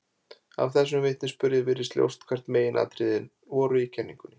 Af þessum vitnisburði virðist ljóst hver meginatriðin voru í kenningunni.